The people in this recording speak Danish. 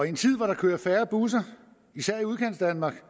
en tid hvor der kører færre busser især i udkantsdanmark